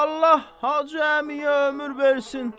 Allah Hacı Əmiyə ömür versin.